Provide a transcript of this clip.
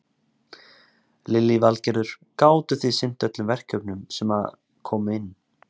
Lillý Valgerður: Gátu þið sinnt öllum verkefnunum sem að komu inn?